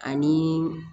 Ani